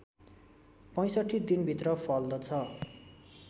६५ दिनभित्र फल्दछ